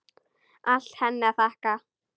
Allt henni að þakka.